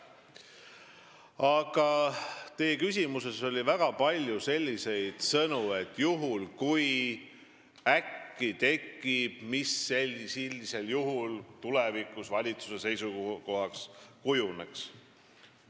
Aga teie küsimuses oli väga palju selliseid sõnu nagu "juhul kui", "äkki tekib" ja "mis sellisel juhul tulevikus valitsuse seisukohaks kujuneks".